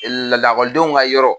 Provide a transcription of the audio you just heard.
la la lakɔlidenw ka yɔrɔ.